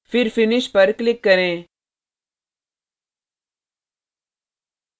फिर finish पर click करें